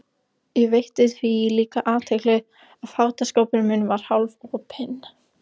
Ég veitti því líka athygli að fataskápurinn minn var hálfopinn.